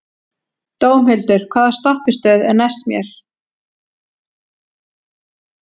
Dómhildur, hvaða stoppistöð er næst mér?